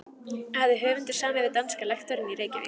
Hafði höfundur samið við danska lektorinn í Reykjavík